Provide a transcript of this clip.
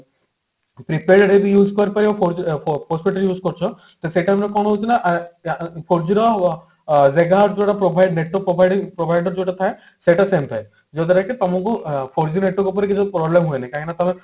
prepaid ଯଦି use କରୁଥିବ four G ଫୋ postpaid ରେ use କରୁଛ ତ ସେଇ time ରେ କଣ ହଉଛି ନା ୟା ୟା four G ର ଅ gigahertz ଯୋଉଟା provide network provide provider ଯୋଉଟା ଥାଏ ସେଟା ସେମତି ଥାଏ ଯାହା ଦ୍ଵାରା କି ତମକୁ four G network ଉପରେ କିଛି problem ହୁଏନି କାହିଁକି ନା ତମେ